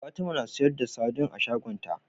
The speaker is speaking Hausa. Fatima na siyar da sadin a shagon ta